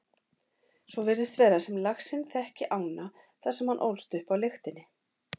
Svo virðist vera sem laxinn þekki ána þar sem hann ólst upp á lyktinni.